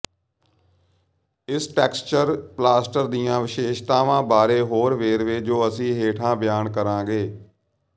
ਇਸ texture plaster ਦੀਆਂ ਵਿਸ਼ੇਸ਼ਤਾਵਾਂ ਬਾਰੇ ਹੋਰ ਵੇਰਵੇ ਜੋ ਅਸੀਂ ਹੇਠਾਂ ਬਿਆਨ ਕਰਾਂਗੇ